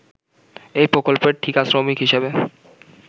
এই প্রকল্পের ঠিকা শ্রমিক হিসেবে